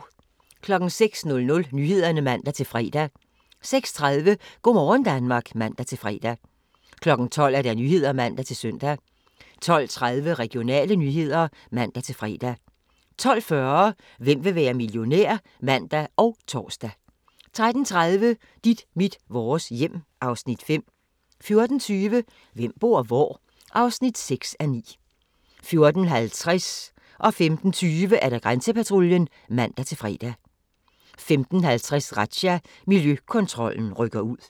06:00: Nyhederne (man-fre) 06:30: Go' morgen Danmark (man-fre) 12:00: Nyhederne (man-søn) 12:30: Regionale nyheder (man-fre) 12:40: Hvem vil være millionær? (man og tor) 13:30: Dit mit vores hjem (Afs. 5) 14:20: Hvem bor hvor? (6:9) 14:50: Grænsepatruljen (man-fre) 15:20: Grænsepatruljen (man-fre) 15:50: Razzia – Miljøkontrollen rykker ud